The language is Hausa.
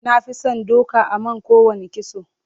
Na fi son doka a man kowanne kitso.